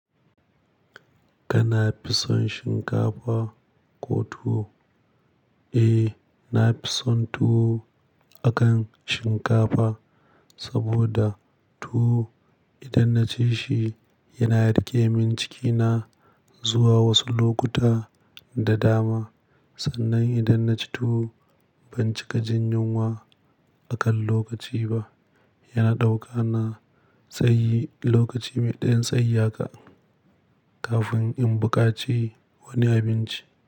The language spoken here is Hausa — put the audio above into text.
Kana fison shinkafa ko tuwo? Eh, na fison tuwo akan shinkafa saboda tuwo idan naci shi yana rikemin cikina zuwa wasu lokuta da dama. Sannan idan naci tuwo ban cika jin yunwa akan lokaci ba. Yana dauka na tsayi lokaci mai ɗayan tsayi haka kafin in buƙaci wani abinci.